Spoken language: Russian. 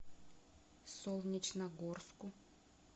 солнечногорску